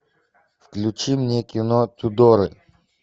включи мне кино тюдоры